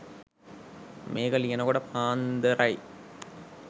මේක ලියනකොට පාන්දර . යි.